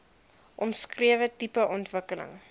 omskrewe tipe ontwikkeling